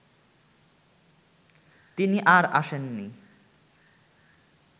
তিনি আর আসেননি